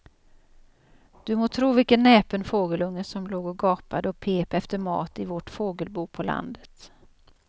Du må tro vilken näpen fågelunge som låg och gapade och pep efter mat i vårt fågelbo på landet.